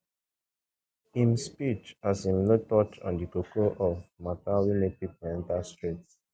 im speech as im no touch on di koko of mata wey make pipo enter streets